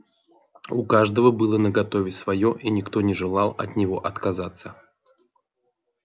у каждого было наготове своё и никто не желал от него отказываться